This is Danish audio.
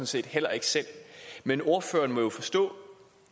set heller ikke selv men ordføreren må jo forstå